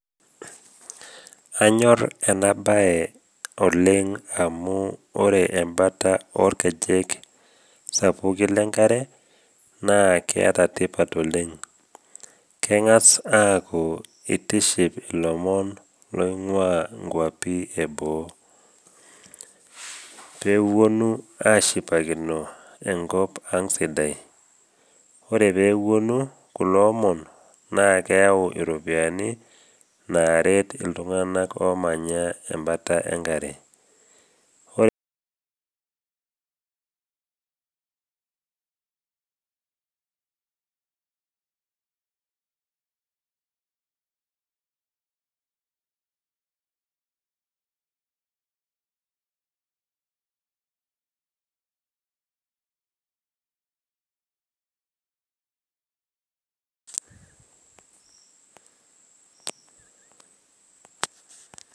Anyor enabae oleng amu ore embata olkejek sapuki le nkare naa keata tipat oleng. Keng’as aaku itiship ilomon loing’ua nkwapi e boo peewuonu ashipakino enkop ang sidai, ore pee ewuonu kulo omon, naa keyau iropiani, neret iltung’ana omanya embata e nkare. Ore sii kulo keek obulu, naa iloipi sidain naa ine etonie kulo omon oing’ua inkwapi eboo ashipakino ena siai naitishipisho. Eisho sii isiatin ilbarnot kumok ena siai.